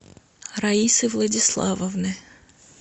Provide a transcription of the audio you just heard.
раисы владиславовны